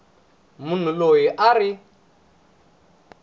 munhu loyi a a ri